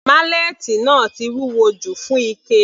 Málẹ́ẹ́tì náà ti wúwo jù fún Ike.